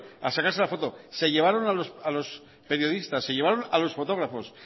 a sacarse la foto se llevaron a los periodistas se llevaron a los fotógrafos